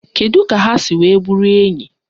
Kedụ ka ha si wee bụrụ enyi?